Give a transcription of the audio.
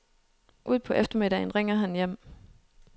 Ud på eftermiddagen ringer han hjem.